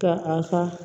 Ka a ka